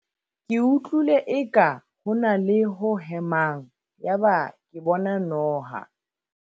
ke utlwile eka ho na le ho hemang yaba ke bona noha